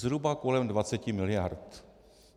Zhruba kolem 20 miliard.